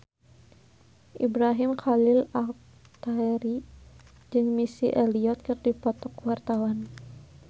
Ibrahim Khalil Alkatiri jeung Missy Elliott keur dipoto ku wartawan